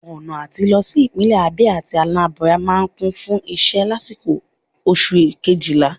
Ọna atí lọ si ipinlẹ Abia atí Anambra maa n Kun fun iṣẹ lasiko Oṣu kejila